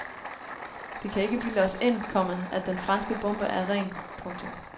De kan ikke bilde os ind, komma at den franske bombe er ren. punktum